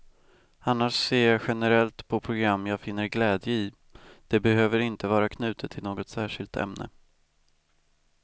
Annars ser jag generellt på program jag finner glädje i, det behöver inte vara knutet till något särskilt ämne.